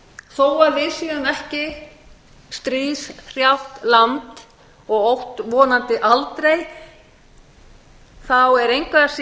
en þó við séum ekki stríðshrjáð land og ætti vonandi aldrei þá er engu að